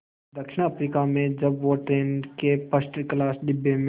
दक्षिण अफ्रीका में जब वो ट्रेन के फर्स्ट क्लास डिब्बे में